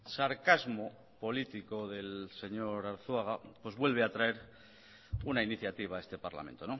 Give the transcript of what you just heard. sarcasmo político del señor arzuaga pues vuelve a traer una iniciativa a este parlamento